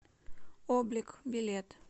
облик билет